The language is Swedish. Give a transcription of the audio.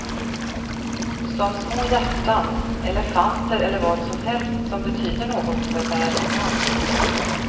Som små hjärtan, elefanter eller vad som helst som betyder något för bärarinnan.